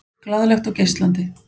Glaðlegt og geislandi.